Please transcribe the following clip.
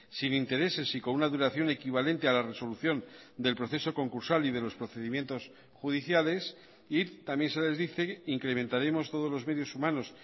sin intereses y con una duración equivalente a la resolución del proceso concursal y de los procedimientos judiciales y también se les dice incrementaremos todos los medios humanos